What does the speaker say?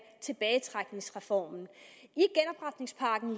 tilbagetrækningsreformen